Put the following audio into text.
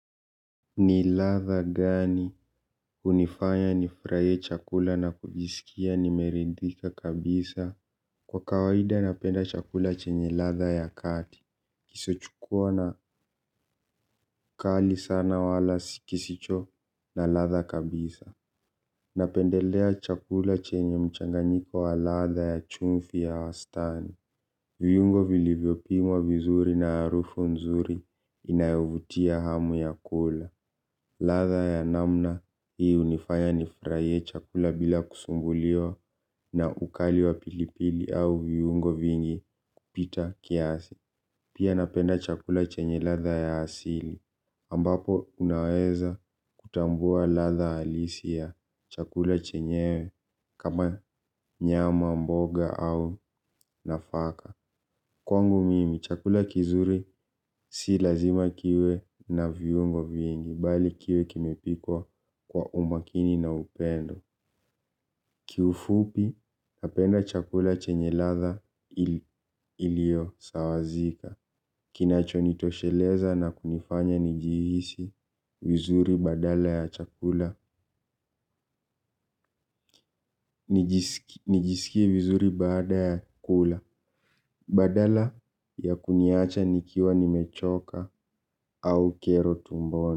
Ni ladha gani hunifanya nifurahie chakula na kujisikia nimeridhika kabisa? Kwa kawaida napenda chakula chenye ladha ya kati. Kisichokua na ukali sana wala kisicho na ladha kabisa. Napendelea chakula chenye mchanganyiko wa ladha ya chumvi ya wastani. Viungo vilivyopimwa vizuri na harufu nzuri inayovutia hamu ya kula. Ladha ya namna hii hunifanya nifurahie chakula bila kusumbuliwa na ukali wa pilipili au viungo vingi kupita kiasi. Pia napenda chakula chenye ladha ya asili ambapo unaweza kutambua ladha halisi ya chakula chenyewe kama nyama mboga au nafaka. Kwangu mimi, chakula kizuri si lazima kiwe na viungo vingi, bali kiwe kimepikwa kwa umakini na upendo. Kiufupi, napenda chakula chenye ladha iliyosawazika. Kinachonitosheleza na kunifanya nijihisi vizuri badala ya chakula. Nijisikie vizuri baada ya kula. Badala ya kuniacha nikiwa nimechoka au kero tumboni.